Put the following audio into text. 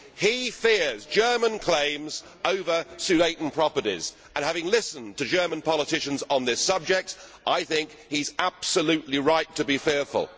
He fears German claims over Sudeten properties and, having listened to German politicians on this subject, I think he is absolutely right to be fearful.